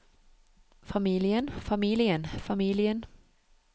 familien familien familien